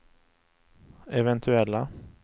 eventuella